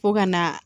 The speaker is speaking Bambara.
Fo ka na